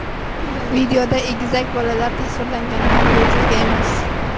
Videoda egizak bolalar tasvirlangani ham bejizga emas.